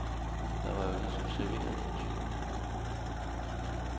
Der var jo ligesom serveret for tyvene.